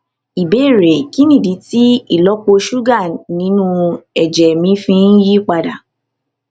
ìbéèrè kí nìdí tí ìlópo ṣúgà inú èjè mi fi ń yí padà